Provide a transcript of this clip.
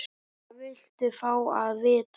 Hvað viltu fá að vita?